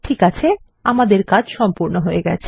ঠিক আছে আমাদের কাজ সম্পূর্ণ হয়ে গেছে